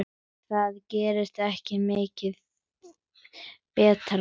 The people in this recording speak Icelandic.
Það gerist ekki mikið betra.